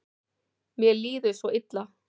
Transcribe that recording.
Mér líður svo illa.